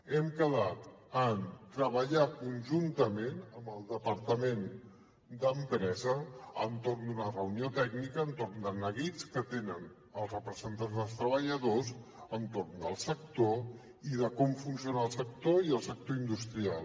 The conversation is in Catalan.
hem quedat en treballar conjuntament amb el departament d’empresa en una reunió tècnica sobre els neguits que tenen els representants dels treballadors entorn del sector i de com funciona el sector i el sector industrial